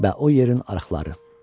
Və o yerin arıqları.